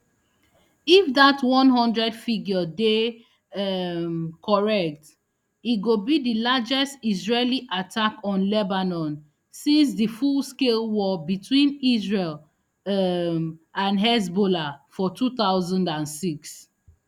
if dat one hundred figure dey um correct e go be di largest israeli attack on lebanon since di fullscale war between israel um and hezbollah for two thousand and six